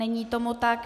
Není tomu tak.